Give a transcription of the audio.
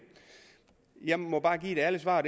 jeg må bare give et ærligt svar